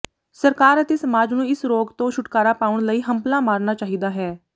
ਸਰਕਾਰ ਅਤੇ ਸਮਾਜ ਨੂੰ ਇਸ ਰੋਗ ਤੋਂ ਛੁਟਕਾਰਾ ਪਾਉਣ ਲਈ ਹੰਭਲਾ ਮਾਰਨਾ ਚਾਹੀਦਾ ਹੈ